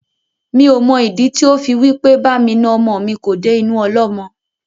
Mi ò mọ ìdí tí ó fi wí pé bá mi na ọmọ mi kò dé inú ọlọ́mọ.